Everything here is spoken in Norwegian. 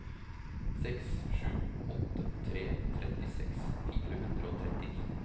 seks sju åtte tre trettiseks fire hundre og trettini